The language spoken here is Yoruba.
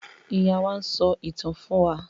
Ìyá wá n sọ ìtàn fún wà